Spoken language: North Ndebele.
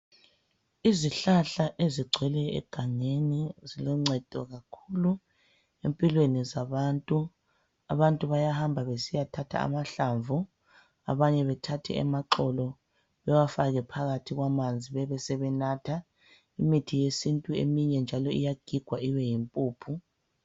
Izihlahla ezingcwele egangeni ziloncedo kakhulu empilweni zabantu abantu bayahamba besiyathatha amahlamvu abanye bethathe amaxolo bewafake phakathi kwamanzi bebesebenatha. Imithi yesintu eminye iyagingwa zibe yimpuphu.